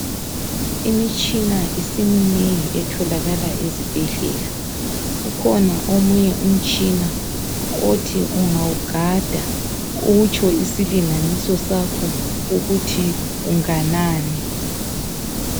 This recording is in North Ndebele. Imitshina isiminengi etholakala ezibhedlela ukhona omunye umtshina okuthi ungawugada utsho isilinganiso sakho ukuthi unganani.